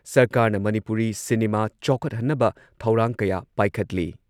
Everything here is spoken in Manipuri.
ꯁꯔꯀꯥꯔꯅ ꯃꯅꯤꯄꯨꯔꯤ ꯁꯤꯅꯤꯃꯥ ꯆꯥꯎꯈꯠꯍꯟꯅꯕ ꯊꯧꯔꯥꯡ ꯀꯌꯥ ꯄꯥꯏꯈꯠꯂꯤ